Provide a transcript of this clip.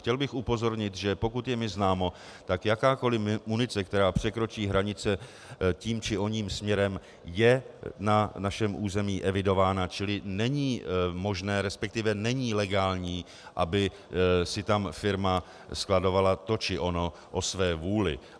Chtěl bych upozornit, že pokud je mi známo, tak jakákoliv munice, která překročí hranice tím či oním směrem, je na našem území evidována, čili není možné, respektive není legální, aby si tam firma skladovala to či ono o své vůli.